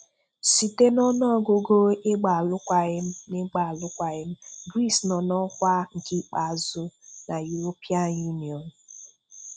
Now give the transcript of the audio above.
Site n'ọnụọgụgụ ịgba alụkwaghịm ịgba alụkwaghịm Greece nọ n'ọkwa nke ikpeazụ n'European Union;